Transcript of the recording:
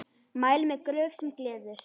Mæli með Gröf sem gleður.